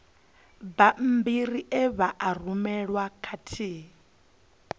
bammbiri e vha rumelwa khathihi